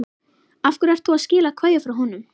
Af hverju ert þú að skila kveðju frá honum?